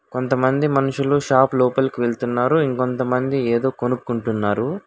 కొంతమంది మనుషులు షాప్ లోపలికి వెళ్తున్నారు ఇంకొంతమంది ఏదో కొనుక్కుంటున్నారు.